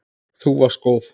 Þú varst góð.